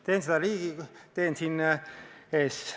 Teen seda siin teie ees.